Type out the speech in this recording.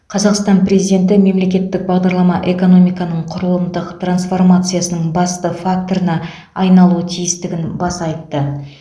қазақстан президенті мемлекеттік бағдарлама экономиканың құрылымдық трансформациясының басты факторына айналуы тиістігін баса айтты